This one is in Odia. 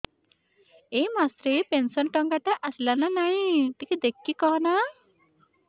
ଏ ମାସ ରେ ପେନସନ ଟଙ୍କା ଟା ଆସଲା ନା ନାଇଁ ଟିକେ ଦେଖିକି କହନା